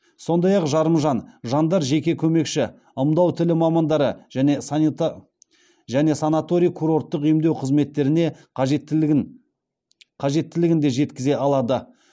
сондай ақ жарымжан жандар жеке көмекші ымдау тілі мамандары және санаторий курорттық емдеу қызметтеріне қажеттілігін де жеткізе алады